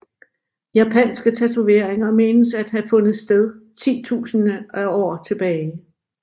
Japanske tatoveringer menes at have fundet sted titusinder af år tilbage